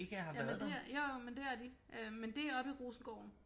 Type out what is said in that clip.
Jamen det jo jo men det er de øh men det er oppe i Rosengården